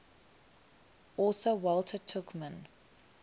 author walter tuchman